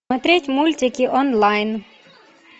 смотреть мультики онлайн